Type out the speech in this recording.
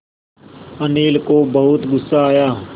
अनिल को बहुत गु़स्सा आया